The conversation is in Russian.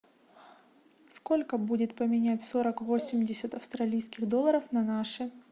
сколько будет поменять сорок восемьдесят австралийских долларов на наши